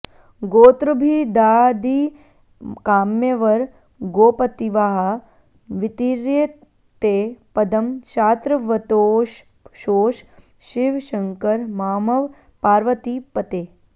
गोत्रभिदादिकाम्यवर गोपतिवाह वितीर्य ते पदं शात्रवतोषशोष शिव शङ्कर मामव पार्वतीपते